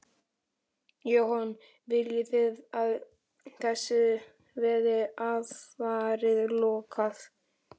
Jóhann: Viljið þið að þessu verði alfarið lokað?